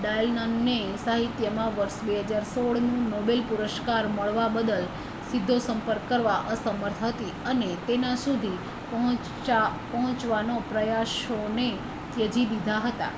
Dylan ને સાહિત્ય માં વર્ષ 2016 નું નોબેલ પુરસ્કાર મળવા બદલ સીધો સંપર્ક કરવા અસમર્થ હતી અને તેના સુધી પહોંચવાના પ્રયાસો ને ત્યજી દીધા હતા